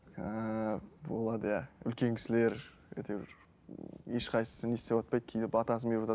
ыыы болады иә үлкен кісілер әйтеуір ешқайсысы не істеватпайды кейде батасын беріватады